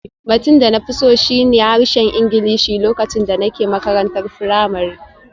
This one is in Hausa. Batun da na fi so shi ne harshen Ingilishi lokacin da nake makarantar firamare